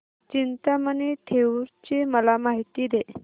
चिंतामणी थेऊर ची मला माहिती दे